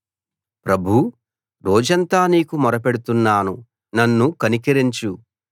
ప్రభూ రోజంతా నీకు మొరపెడుతున్నాను నన్ను కనికరించు